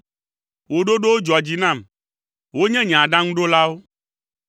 Wò ɖoɖowo dzɔa dzi nam; wonye nye aɖaŋuɖolawo.